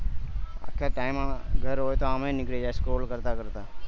અત્યારે time આવ દર હોય તો નીકળી જાય score કરતા કરતા